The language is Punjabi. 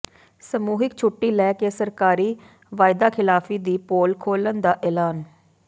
ਸਮੂਹਿਕ ਛੁੱਟੀ ਲੈ ਕੇ ਸਰਕਾਰੀ ਵਾਅਦਾਖ਼ਿਲਾਫ਼ੀ ਦੀ ਪੋਲ ਖੋਲ੍ਹਣ ਦਾ ਐਲਾਨ